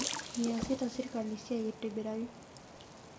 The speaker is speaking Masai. Meeasita serikali siai aitibiraki